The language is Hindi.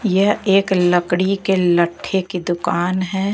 यह एक लकड़ी के लट्ठे की दुकान है।